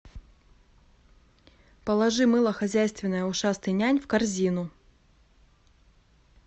положи мыло хозяйственное ушастый нянь в корзину